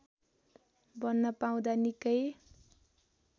बन्न पाउँदा निकै